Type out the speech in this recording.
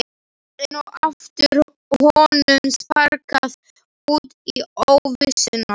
Enn og aftur var honum sparkað út í óvissuna.